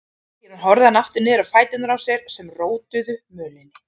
Síðan horfði hann aftur niður á fætur sér sem rótuðu upp mölinni.